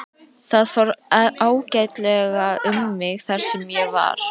Það fór ágætlega um mig þar sem ég var.